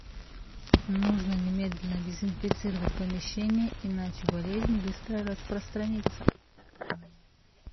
нужно немедленно дезинфицировать помещение иначе болезнь быстро распространится